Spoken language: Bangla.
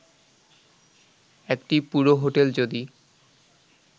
একটি পুরো হোটেল যদি